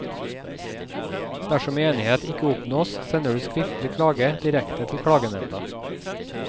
Dersom enighet ikke oppnås, sender du skriftlig klage direkte til klagnemnda.